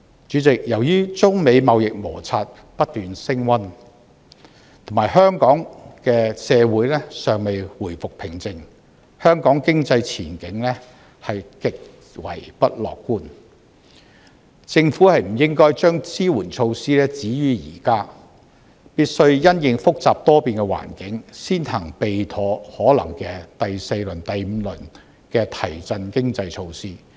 主席，由於中美貿易摩擦不斷升溫，以及香港社會尚未回復平靜，香港經濟前景極為不樂觀，政府不應該將支援措施止於現在，必須因應複雜多變的環境，先行備妥可能的第四輪、第五輪的提振經濟措施。